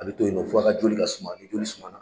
A bɛ to yen nɔ fo a ka joli ka suma, ni joli suma na.